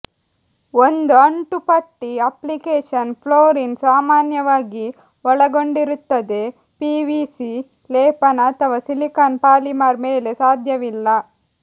ಒಂದು ಅಂಟುಪಟ್ಟಿ application fluorine ಸಾಮಾನ್ಯವಾಗಿ ಒಳಗೊಂಡಿರುತ್ತದೆ ಪಿವಿಸಿ ಲೇಪನ ಅಥವಾ ಸಿಲಿಕಾನ್ ಪಾಲಿಮರ್ ಮೇಲೆ ಸಾಧ್ಯವಿಲ್ಲ